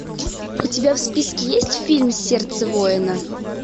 у тебя в списке есть фильм сердце воина